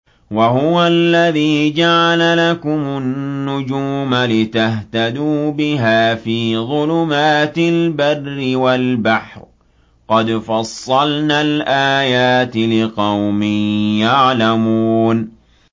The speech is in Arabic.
وَهُوَ الَّذِي جَعَلَ لَكُمُ النُّجُومَ لِتَهْتَدُوا بِهَا فِي ظُلُمَاتِ الْبَرِّ وَالْبَحْرِ ۗ قَدْ فَصَّلْنَا الْآيَاتِ لِقَوْمٍ يَعْلَمُونَ